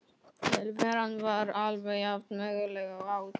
Tilveran var alveg jafnömurleg og áður.